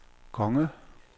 konge